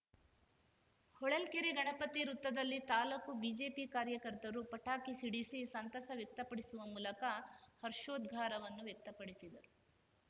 ಹೊಳಲ್ಕೆರೆ ಗಣಪತಿ ವೃತ್ತದಲ್ಲಿ ತಾಲೂಕು ಬಿಜೆಪಿ ಕಾರ್ಯಕರ್ತರು ಪಟಾಕಿ ಸಿಡಿಸಿ ಸಂತಸ ವ್ಯಕ್ತಪಡಿಸುವ ಮೂಲಕ ಹರ್ಷೋದ್ಘಾರವನ್ನು ವ್ಯಕ್ತಿಪಡಿಸಿದರು